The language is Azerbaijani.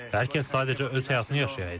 Hər kəs sadəcə öz həyatını yaşayaydı.